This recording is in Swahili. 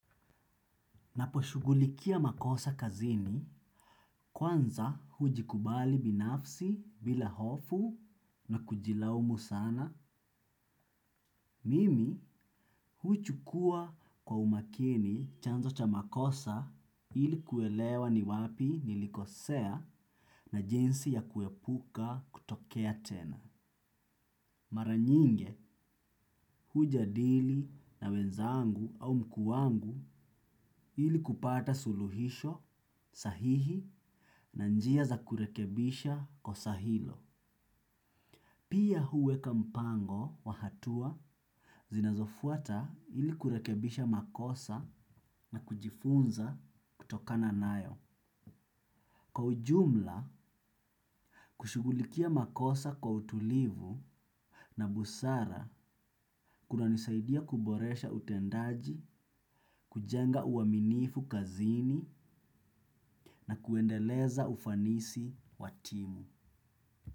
Naposhughulikia makosa kazini, kwanza hujikubali binafsi bila hofu na kujilaumu sana, mimi huchukua kwa umakini chanzo cha makosa ili kuelewa ni wapi nilikosea, na jinsi ya kuepuka kutokea tena. Maranyinge hujadili na wenzangu au mkuu wangu ili kupata suluhisho sahihi na njia za kurekebisha kosa hilo. Pia huweka mpango wa hatua zinazofuata ili kurekebisha makosa na kujifunza kutokana nayo. Kwa ujumla, kushugulikia makosa kwa utulivu na busara kunanisaidia kuboresha utendaji, kujenga uaminifu kazini, na kuendeleza ufanisi wa timu.